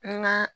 N ga